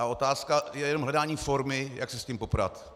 A otázka je jenom hledání formy, jak se s tím poprat.